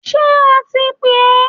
Ṣé a ti pè ẹ?